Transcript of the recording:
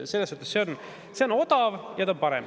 Selles suhtes on odav ja parem.